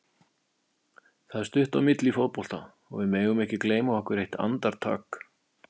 Það er stutt á milli í fótbolta og við megum ekki gleyma okkur eitt andartak.